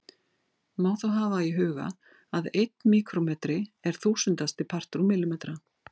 Má þá hafa í huga að einn míkrómetri er þúsundasti partur úr millimetra.